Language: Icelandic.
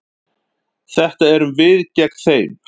Þetta eru við gegn þeim.